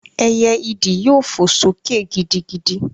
Ẹyẹ ìdí yóò fò sókè gidigidi